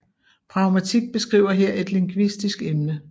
Pragmatik beskriver her et lingvistisk emne